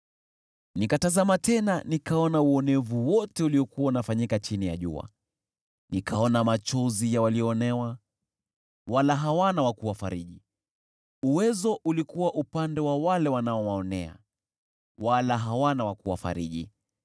Nikatazama tena nikaona uonevu wote uliokuwa unafanyika chini ya jua: Nikaona machozi ya walioonewa, wala hawana wa kuwafariji; uwezo ulikuwa upande wa wale wanaowaonea, wala hawana wa kuwafariji.